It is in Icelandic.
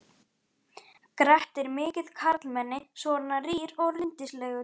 Grettir mikið karlmenni, svona rýr og rindilslegur.